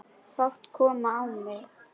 Fát kom á mig.